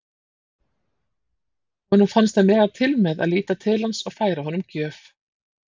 Honum fannst hann mega til með að líta til hans og færa honum gjöf.